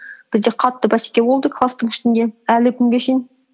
бізде қатты бәсеке болды класстың ішінде әлі күнге шейін